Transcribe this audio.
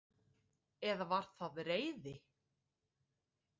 Eða var það reiði?